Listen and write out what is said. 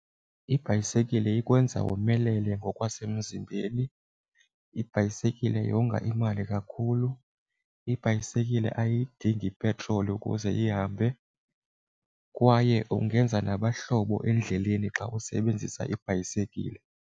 Ibhayisekile ikwenza womelele ngokwasemzimbeni. Ibhayisekile yonga imali kakhulu. Ibhayisekile ayidingi ipetroli ukuze ihambe, kwaye ungenza nabahlobo endleleni xa usebenzisa ibhayisekile.